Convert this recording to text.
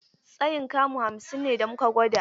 Tsayin kamu hamsin ne da muka gwada.